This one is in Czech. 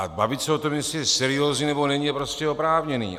A bavit se o tom, jestli je seriózní, nebo není, je prostě oprávněné.